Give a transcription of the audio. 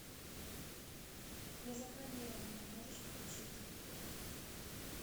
незапланированное можешь включить